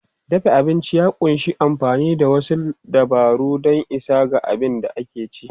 Dafa abinci ya ƙunshi amfani da wasu dabaru don isa ga abin da ake ci.